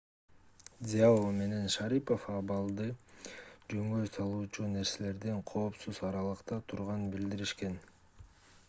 цзяо менен шарипов абалды жөнгө салуучу нерселерден коопсуз аралыкта турганын билдиришкен